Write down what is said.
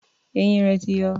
Eyín rẹ̀ ti yọ.